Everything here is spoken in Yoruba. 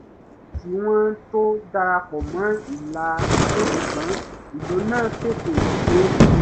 wọ́n pẹ́ kí wọ́n tó dara pọ̀ mọ́ ìlà ijó sugbọn ìlú náà tètè yé wọn